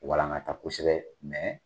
Walangata kosɛbɛ